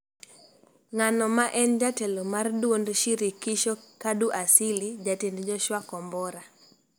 ng'ano ma en jatelo mar duond Shirikisho, Kadu Asili, Jatend Joshua Kombora